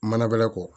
Mana galakɔ